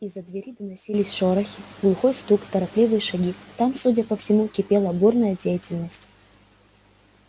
из-за двери доносились шорохи глухой стук торопливые шаги там судя по всему кипела бурная деятельность